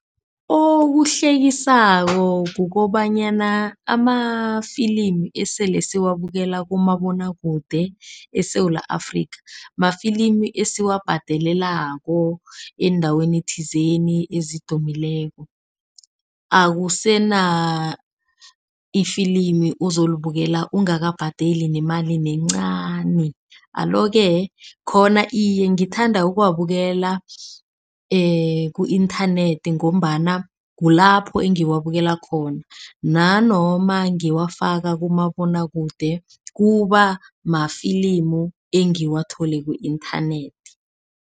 Okuhlekisako kukobanyana amafilimi esele siwabukela kumabonwakude eSewula Afrika. Mafilimi esiwabhadelelako endaweni thizeni ezidumileko. Akusena ifilimu ozolibukela ongakabhadali nemali nencani. Alo-ke khona iye ngithanda ukuwabukela ku-inthanethi ngombana kulapho engiwabukela khona. Nanoma ngiwafaka kumabonwakude kuba mafilimu engiwathole ku-inthanethi.